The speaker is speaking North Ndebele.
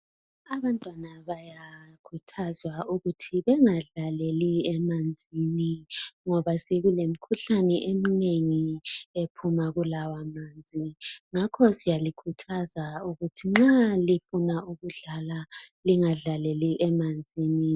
Abantwana bayakhuthazwa ukuthi bengadlaleli emanzini .Ngoba sekule mkhuhlane eminengi ephuma kulawa manzi .Ngakho siyalikhuthaza ukuthi nxa lifuna ukudlala lingadlaleli emanzini.